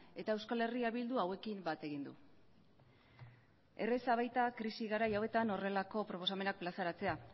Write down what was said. eta euskal herria bilduk hauekin bat egin du erreza baita krisi garai hauetan horrelako proposamenak plazaratzea